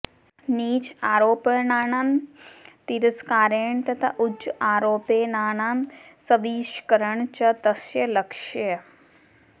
नीच आरोपणानां तिरस्कारेण तथा उच्च आरोपणानां स्वांशीकरणं च तस्य लक्ष्यः